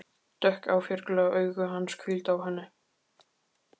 Dökk áfergjuleg augu hans hvíldu á henni.